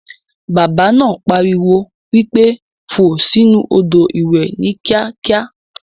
Bàbá náà pariwo wípé "fò sì inú Odò ìwẹ̀ ni kíákíá"!!